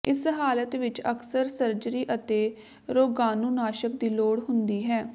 ਇਸ ਹਾਲਤ ਵਿੱਚ ਅਕਸਰ ਸਰਜਰੀ ਅਤੇ ਰੋਗਾਣੂਨਾਸ਼ਕ ਦੀ ਲੋੜ ਹੁੰਦੀ ਹੈ